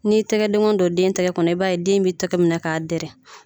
N'i tɛgɛdenkɔni don den tɛgɛ kɔnɔ i b'a ye den b'i tɛgɛ minɛ k'a dɛrɛ